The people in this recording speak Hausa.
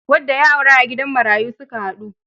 Wadda ya aura a gidan marayu su ka haɗu.